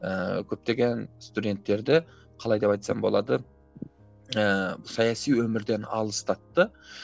ііі көптеген студенттерді қалай деп айтсам болады ііі саяси өмірден алыстатты